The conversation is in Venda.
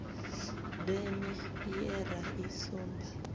deme ye ra i sumba